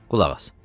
Qulaq as.